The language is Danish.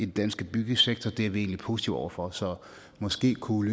danske byggesektor er vi egentlig positive over for så måske kunne